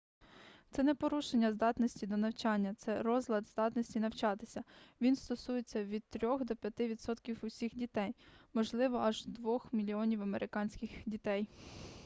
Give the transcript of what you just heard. це не порушення здатності до навчання це розлад здатності навчатися він стосується від 3-х до 5-ти відсотків усіх дітей можливо аж 2-х мільйонів американських дітей